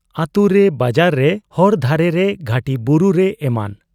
ᱟᱹᱛᱩᱨᱮ, ᱵᱟᱡᱟᱨ ᱨᱮ, ᱦᱚᱨ ᱫᱷᱟᱨᱮ ᱨᱮ, ᱜᱷᱟᱹᱴᱤ ᱵᱩᱨᱩᱨᱮ ᱮᱢᱟᱱ ᱾